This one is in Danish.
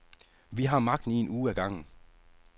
Vi har magten i en uge ad gangen.